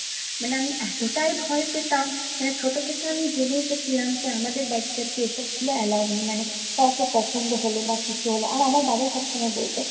মানে আমি এতটাই ভয় পেতাম, মানে ছোট থেকে আমি জেনে এসেছিলাম যে আমাদের বাড়িতে আরকি এসবগুলো allow নেই। মানে কাউকে পছন্দ হলে বা কিছু হলে, আর বাবা সবসময় বলতো